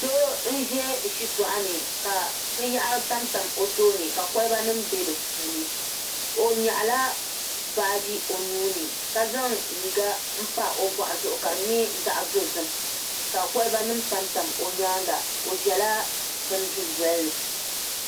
Doo n ʒɛ shitoɣu ni ka binyahari tamtam o tooni ka kolba nim bɛ di puuni o nyaɣala baaji o nuuni ka zaŋ liiga n pa o boɣu zuɣu ka di nyɛ zaɣ dozim ka kolba nim tamtam o nyaanga o ʒɛla bin dundoli ni